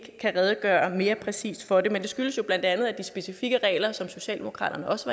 kan redegøre mere præcist for det men det skyldes jo bla at de specifikke regler som socialdemokratiet også